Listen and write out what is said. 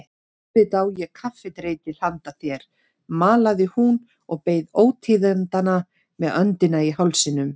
Auðvitað á ég kaffidreitil handa þér malaði hún og beið ótíðindanna með öndina í hálsinum.